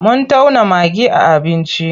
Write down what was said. Mun tauna magi a abinci.